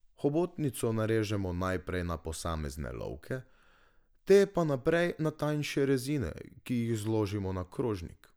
Hobotnico narežemo najprej na posamezne lovke, te pa naprej na tanjše rezine, ki jih zložimo na krožnik.